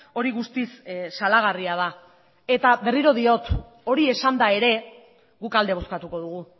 hori guztiz salagarria da eta berriro diot hori esanda ere guk alde bozkatuko dugu